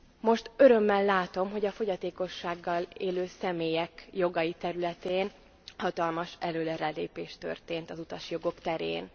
Most örömmel látom, hogy a fogyatékossággal élő személyek jogai területén hatalmas előrelépés történt az utasjogok terén.